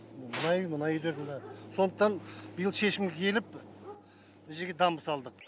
мына үй мына үйлерді міні сондықтан биыл шешімге келіп жерге дамба салдық